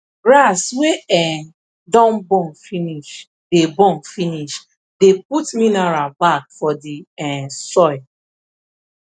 grass wey um don burn finish dey burn finish dey put minerial back for the um soil